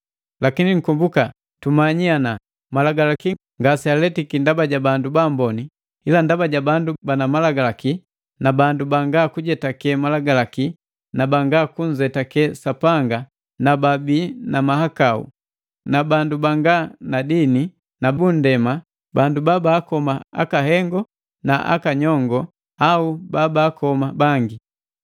Lakini nkombuka tumanyiki ana malagalaki ngasealetiki ndaba ja bandu ba amboni, ila ndaba ja bandu bahalabana malagalaki na bandu banga kujetake malagalaki na banga kunzetake Sapanga na babii na mahakau, bandu banga na dini na bundema, bandu babakoma akahengo na aka nyongo, au babakoma bangi.